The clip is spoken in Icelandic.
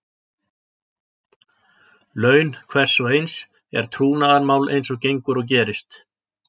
Laun hvers og eins er trúnaðarmál eins og gengur og gerist.